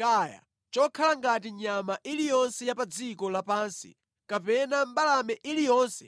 kaya chokhala ngati nyama iliyonse ya pa dziko lapansi kapena mbalame iliyonse